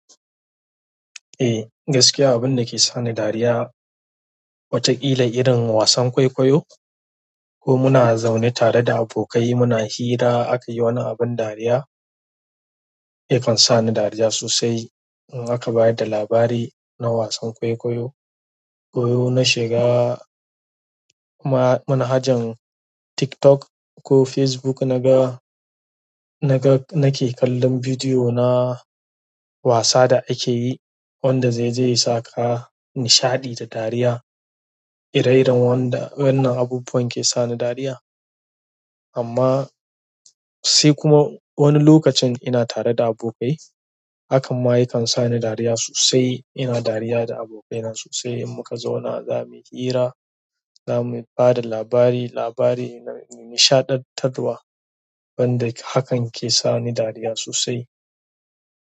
Eh, gaskiya abin da ke sani dariya, wataƙila irin wasan kwaikwayo ko muna zaune tare da abokai muna hira aka yi wani abin dariya, yakan sa ni dariya sosai. In aka bayar da labari na wasan kwaikwayo, ko in na shiga manhajan TikTok ko Facebook naga, naga nake kallon bidiyo na wasa da ake yi wanda zai, zai sa ka nishaɗi da dariya. Irin wannan abubuwan ke sani dariya. Amma sai kuma wani lokacin ina tare da abokai, hakan ma yakan sa ni dariya sosai. Ina dariya da abokaina sosai in muka zauna za mu yi hira, za mu ba da labari, labari na nishaɗantarwa, wanda hakan ke sani dariya sosai.